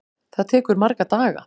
Það tekur marga daga!